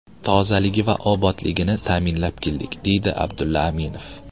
Tozaligi va obodligini ta’minlab keldik”, deydi Abdulla Aminov.